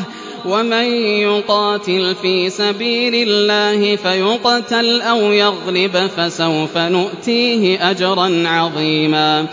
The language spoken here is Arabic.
ۚ وَمَن يُقَاتِلْ فِي سَبِيلِ اللَّهِ فَيُقْتَلْ أَوْ يَغْلِبْ فَسَوْفَ نُؤْتِيهِ أَجْرًا عَظِيمًا